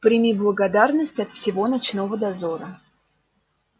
прими благодарность от всего ночного дозора